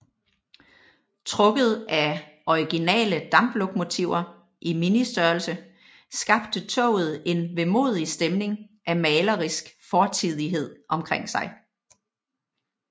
Trukket af originale damplokomotiver i ministørrelse skabte toget en vemodig stemning af malerisk fortidighed omkring sig